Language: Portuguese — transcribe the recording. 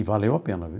E valeu a pena, viu?